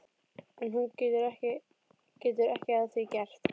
En hún getur ekki að því gert.